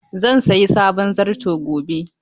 Zan sayi sabon zarto gobe.